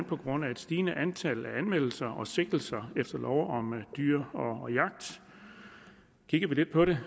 på grund af et stigende antal anmeldelser og sigtelser efter lov om dyr og jagt kigger vi lidt på det